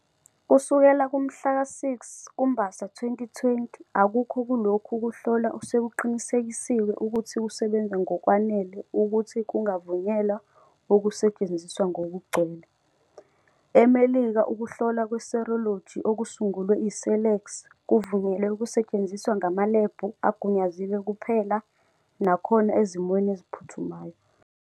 Kusukela kumhla ka-6 kuMbasa 2020, akukho kulokhu kuhlola osekuqinisekisiwe ukuthi kusebenza ngokwanele ukuthi kungavunyelwa ukusetshenziswa ngokugcwele. EMelika ukuhlola kwe-serology okusungulwe i-Cellex kuvunyelwe ukusetshenziswa ngamalebhu agunyaziwe kuphela nakhona ezimweni eziphuthumayo.